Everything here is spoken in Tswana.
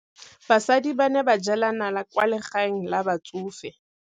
Basadi ba ne ba jela nala kwaa legaeng la batsofe.